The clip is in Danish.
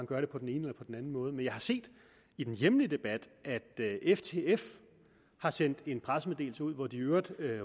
gør det på den ene eller på den anden måde men jeg har set i den hjemlige debat at ftf har sendt en pressemeddelelse ud hvor de i øvrigt